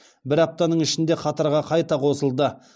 бір аптаның ішінде қатарға қайта қосылды